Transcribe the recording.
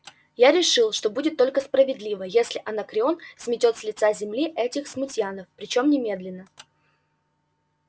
я решил что будет только справедливо если анакреон сметёт с лица земли этих смутьянов причём немедленно